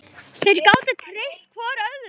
Þeir gátu treyst hvor öðrum.